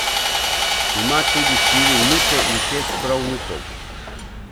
Ima tudi štiri vnuke in šest pravnukov.